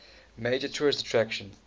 major tourist attraction